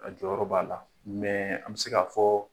Jɔyɔrɔ b'a la an bɛ se k' fɔ.